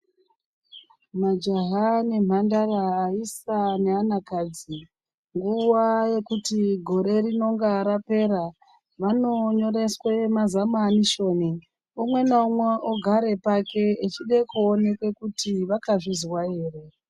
Majaha nemhandara aisa neanakadzi, nguwa yekuti gore rinonga rapera, vanonyoreswa mazamanisheni. Umwe naumwe ogara pake echide kuoneka kuti vakazvizwa ere.